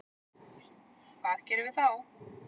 Hvað gerum við þá?